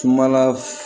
Kumala